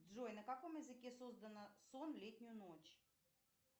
джой на каком языке создано сон в летнюю ночь